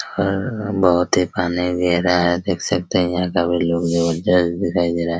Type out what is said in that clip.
और बहुत ही पानी गहरा है देख सकते हैं यहां का भी लुक जबरदस्त दिखाई दे रहा है।